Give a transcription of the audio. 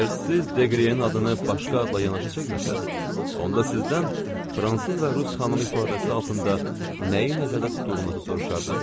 Əgər siz Deqriyenin adını başqa adla yanaşı çəkməsəniz, onda sizdən fransız və rus xanımı ifadəsi altında nəyi nəzərdə tutduğunuzu soruşardım.